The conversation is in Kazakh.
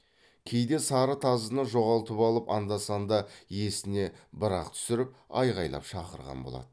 кейде сары тазыны жоғалтып алып анда санда есіне бір ақ түсіріп айғайлап шақырған болады